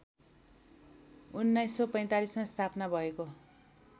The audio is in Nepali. १९४५ मा स्थापना भएको